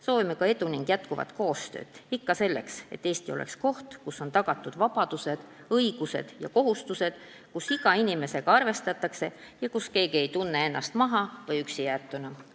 Soovime teile edu ning jätkuvat koostööd – ikka selleks, et Eesti oleks koht, kus on tagatud vabadused, õigused ja kohustused, kus iga inimesega arvestatakse ja kus keegi ei tunne ennast maha- või üksi jäetuna.